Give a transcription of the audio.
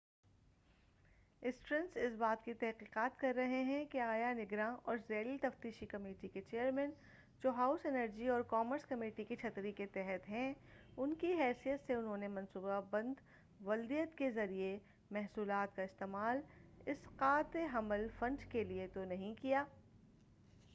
اسٹرنس اس بات کی تحقیقات کر رہے ہیں کہ آیا نگراں اور ذیلی تفتیشی کمیٹی کے چیئرمین جو ہاؤس انرجی اور کامرس کمیٹی کی چھتری کے تحت ہیں، کی حیثیت سے انہوں نے منصوبہ بند والدیت کے ذریعہ محصولات کا استعمال اسقاط حمل فنڈ کیلئے تو نہیں کیا ۔